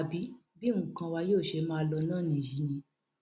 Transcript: àbí bí nǹkan wa yóò ṣe máa lọ náà nìyí ni